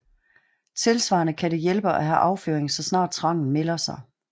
Tilsvarende kan det hjælpe at have afføring så snart trangen melder sig